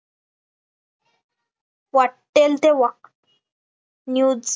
वाटेल ते वाक् news